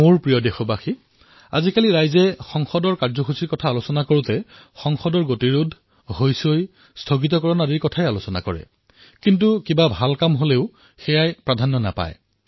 মোৰ মৰমৰ দেশবাসীসকল সংসদত আজিকালি যেতিয়া কিবা আলোচনা হয় প্ৰায়েই এয়া বিঘ্নিত হৈহাল্লা আৰু গতিৰোধৰ বিষয়ত হে হয় কিবা ভাল আলোচনা হলে তাৰ চৰ্চা নহয়